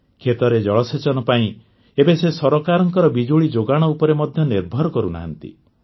କ୍ଷେତରେ ଜଳସେଚନ ପାଇଁ ଏବେ ସେ ସରକାରଙ୍କ ବିଜୁଳି ଯୋଗାଣ ଉପରେ ମଧ୍ୟ ନିର୍ଭର କରୁନାହାନ୍ତି